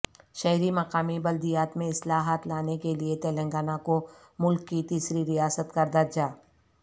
شہری مقامی بلدیات میں اصلاحات لانے کیلئے تلنگانہ کو ملک کی تیسری ریاست کا درجہ